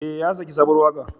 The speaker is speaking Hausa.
Ee, ya saki sabuwar waƙa.